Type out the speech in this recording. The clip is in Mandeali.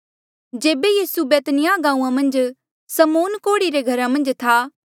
जेबे यीसू बैतनिय्याह गांऊँआं मन्झ समौन कोढ़ी रे घरा मन्झ था